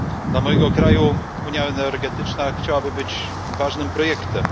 Dla mojego kraju unia energetyczna chciałaby być ważnym projektem.